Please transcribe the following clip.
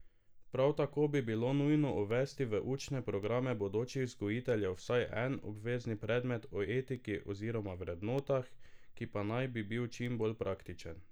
Prav tako bi bilo nujno uvesti v učne programe bodočih vzgojiteljev vsaj en obvezni predmet o etiki oziroma vrednotah, ki pa naj bi bil čim bolj praktičen.